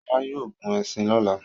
Ṣọlá yóò gun ẹṣin lọ́la.